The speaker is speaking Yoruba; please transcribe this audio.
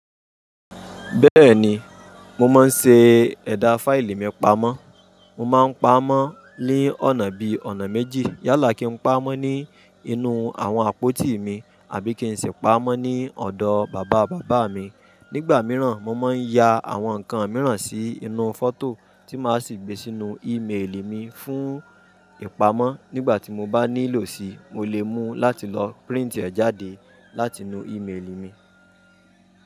Bẹ́ẹ̀ni, mo máa ń ṣe ẹ̀dà fáìlì mi pamọ́. Mo máa ń pamọ́ ní ọ̀nà bí i ọ̀nà méjì. Yálà kí n pa á mọ́ ní inú àwọn àpótí mi àbí kí n sì pa á mọ́ ní ọ̀dọ̀ bàbá bàbá mi. Nígbà mìíràn, mo máa ń ya àwọn nǹkan mìíràn sí inú fọ́tò tí máa sì gbé sínú ímeèlì mi fún ìpamọ́. Nígbà tí mo bá nílò sí i, mo lè mú láti lọ príǹtì ẹ̀ jáde láti inú ímeèlì mi.